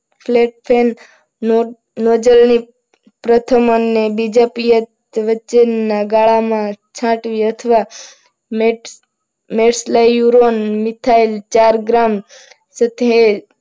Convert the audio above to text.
પ્રથમ અને બીજો પિયત વચ્ચે ના ગાળામાં છાંટવી અથવા